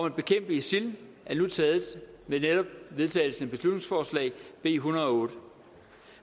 at bekæmpe isil er nu taget med netop vedtagelsen af beslutningsforslag b en hundrede og otte